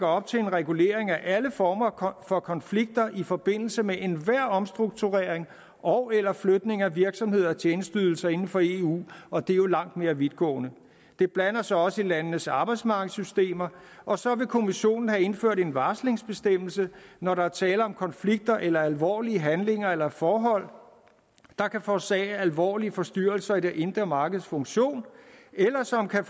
op til en regulering af alle former for konflikter i forbindelse med enhver omstrukturering ogeller flytning af virksomheder og tjenesteydelser inden for eu og det er jo langt mere vidtgående den blander sig også i landenes arbejdsmarkedssystemer og så vil kommissionen have indført en varslingsbestemmelse når der er tale om konflikter eller alvorlige handlinger eller forhold der kan forårsage alvorlige forstyrrelser i det indre markeds funktion eller som kan